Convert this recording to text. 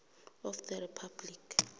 of the republic